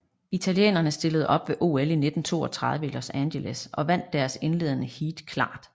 Italienerne stillede op ved OL 1932 i Los Angeles og vandt deres indledende heat klart